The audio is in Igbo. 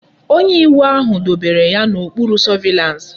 Onye iwu ahu dobere ya na okpuru surveillance